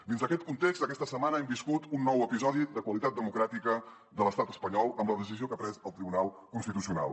dins d’aquest context aquesta setmana hem viscut un nou episodi de qualitat democràtica de l’estat espanyol amb la decisió que ha pres el tribunal constitucional